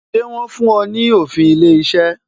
Ṣé wọn fún ọ ní òfin ilé iṣẹ́?